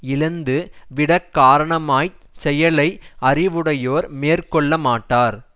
இழந்து விடக் காரணமா செயலை அறிவுடையோர் மேற்க்கொள்ள மாட்டார்